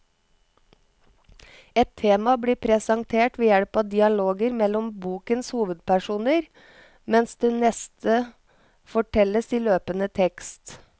Ett tema blir presentert ved hjelp av dialoger mellom bokens hovedpersoner, mens det neste fortelles i løpende tekst.